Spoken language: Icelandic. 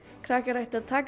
krakkar ættu að taka